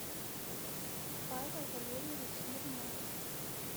павел валерьевич смирнов